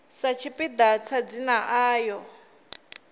sa tshipiḓa tsha dzina ḽayo